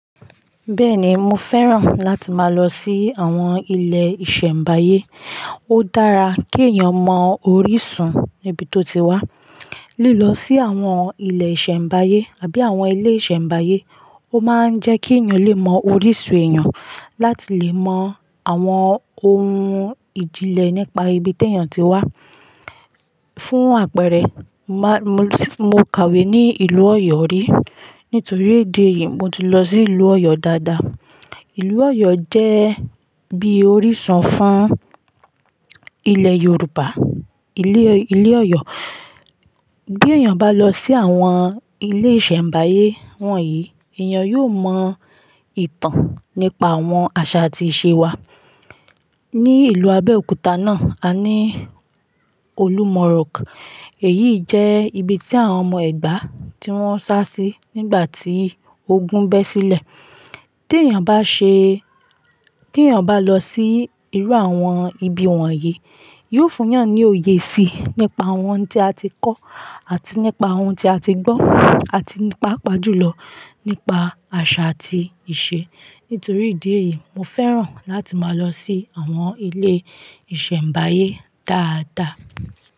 Bẹ́ẹ̀ni, mo fẹ́ràn láti máa lọ sí àwọn ilé ìṣẹ̀mbáyé. Ó dára kí èèyàn mọ orísun níbi tó ti wá. Lílọ sí àwọn ilé ìṣẹ̀mbáyé àbí àwọn ilé ìṣẹ̀mbáyé ó máa ń jẹ́ kí èèyàn lè mọ orísun èèyàn, láti lè mọ àwọn ohun ìjìnlẹ̀ nípa ibi ti èèyàn ti wá. Fún àpẹẹrẹ, má-- mo kàwé ní ìlú Ọ̀yọ́ rí, nítorí ìdí èyí, mo ti lọ sí ìlú Ọ̀yọ́ dáadáa. Ìlú Ọ̀yọ́ jẹ́ bí orísun fún ilẹ̀ Yorùbá. Ilé, ilé Ọ̀yọ́, bí èèyàn bá lọ sí àwọn ilé ìṣẹ̀mbáyé wọ̀nyí, èèyàn yóò mọ ìtàn nípa àwọn àṣà àti ìṣe wa. Ni ìlú Abẹ́òkúta náà, a ní Olúmọ̀ rock. Èyí jẹ́ ibi tí àwọn ọmọ Ẹ̀gbá tí wọ́n sá sí nígbà tí ogun bẹ́ sílẹ̀. Bí èèyàn bá ṣe-- bí èèyàn bá lọ sí irú àwọn ibi wọ̀nyí, yóò fún yàn ní òye síi nípa àwọn ohun tí a ti kọ́, àti nípa ohun tí a ti gbọ́, àti nípapa jùlọ nípa àṣà àti ìṣe. Nítorí ìdí èyí, mo fẹ́ràn láti máa lọ sí àwọn ilé ìṣẹ̀mbáyé dáadáa.